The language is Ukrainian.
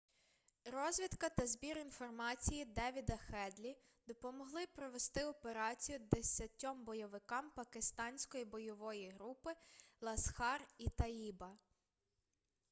розвідка та збір інформації девіда хедлі допомогли провести операцію 10 бойовикам пакистанської бойової групи ласхар-і-таїба